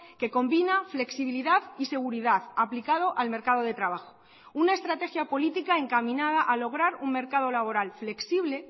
que combina flexibilidad y seguridad aplicado al mercado de trabajo una estrategia política encaminada a lograr un mercado laboral flexible